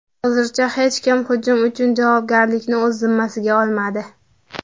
Hozircha hech kim hujum uchun javobgarlikni o‘z zimmasiga olmadi.